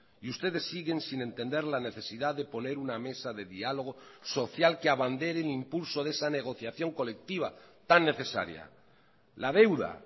y ustedes siguen sin entender la necesidad de poner una mesa de diálogo social que abandere el impulso de esa negociación colectiva tan necesaria la deuda